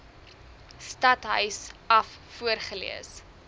stadhuis af voorgelees